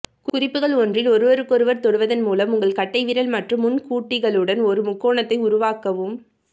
குறிப்புகள் ஒன்றில் ஒருவருக்கொருவர் தொடுவதன் மூலம் உங்கள் கட்டைவிரல் மற்றும் முன்கூட்டிகளுடன் ஒரு முக்கோணத்தை உருவாக்கவும்